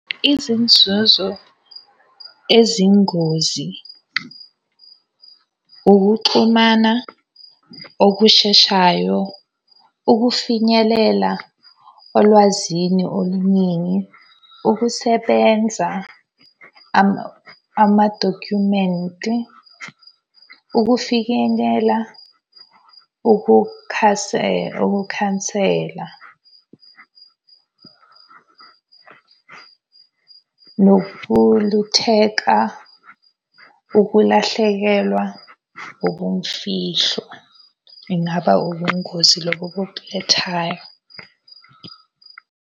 Izinzuzo ezingozi, ukuxhumana okusheshayo, ukufinyelela olwazini oluningi, ukusebenza, amadokhumenti, ukufikenyela, ukukhansela. Nokulutheka, ukulahlekelwa ubumfihlo. Ingaba ubungozi lobo .